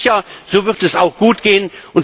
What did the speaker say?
Ich bin sicher, so wird es auch gutgehen.